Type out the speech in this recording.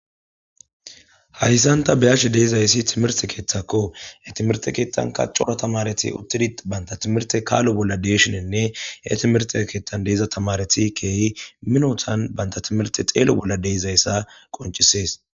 Hayssanta beyash deizayssi timirte keeththakko e timerte keettanka cora tamareti uttidi baynta timirte kaalo bolla deeshinenne e timirte keeththan deiza tamareti keehi minotan banta timirte xeelo bolla deizayssa qoncisees